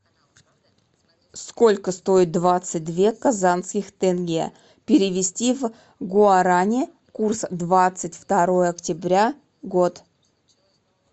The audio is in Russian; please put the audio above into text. сколько стоит двадцать две казахских тенге перевести в гуарани курс двадцать второе октября год